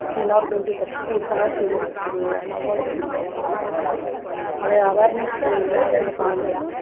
இல்லன்னா ஒரு twenty percent இருக்க தான் செய்யுறது அது unavoidable தான் சொல்லனும் அது awareness இல்லாதன்னு சொல்லலாம்